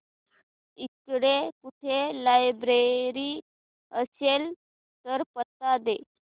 इकडे कुठे लायब्रेरी असेल तर पत्ता दे